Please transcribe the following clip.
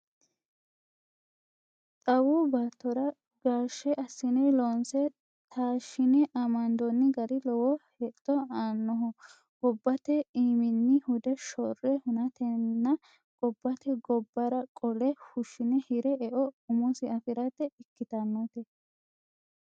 Xawu baattora gaashshe assine loonse taashine amandoni gari lowo hexxo aanoho gobbate iimini hude shorre hunatenna gobbate gobbara qolle fushine hire eo umosi afirate ikkittanote.